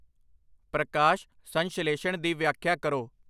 ਪ੍ਰਕਾਸ਼ ਸੰਸ਼ਲੇਸ਼ਣ ਦੀ ਵਿਆਖਿਆ ਕਰੋ